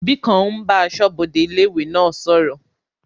Òbí kan ń bá asọ́bodè ilé-ìwé náà sọ̀rọ̀